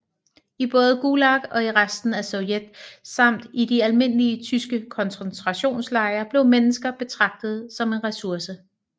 I både Gulag og i resten af Sovjet samt i de almindelige tyske koncentrationslejre blev mennesker betragtet som en resurse